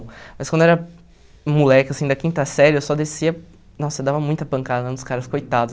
Mas quando eu era moleque, assim, da quinta série, eu só descia... Nossa, eu dava muita pancada nos caras, coitados.